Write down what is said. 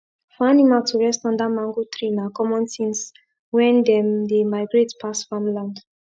for animal to rest under mango tree na common tins wen them dey migrate pass farmland